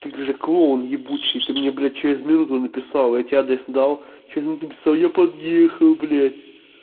ты же клоун ебучий ты мне блядь через минуту написал я тебе адрес дал ты через минуту написал я подъехал блядь